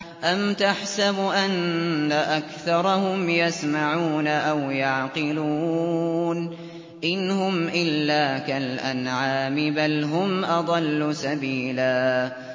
أَمْ تَحْسَبُ أَنَّ أَكْثَرَهُمْ يَسْمَعُونَ أَوْ يَعْقِلُونَ ۚ إِنْ هُمْ إِلَّا كَالْأَنْعَامِ ۖ بَلْ هُمْ أَضَلُّ سَبِيلًا